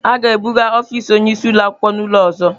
A ga-ebuga ọfisi onye isi ụlọ akwụkwọ n'ụlọ ọzọ.